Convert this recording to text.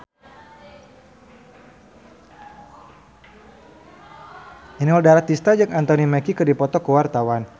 Inul Daratista jeung Anthony Mackie keur dipoto ku wartawan